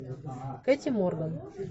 кэти морган